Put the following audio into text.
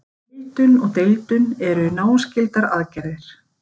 Heildun og deildun eru náskyldar aðgerðir.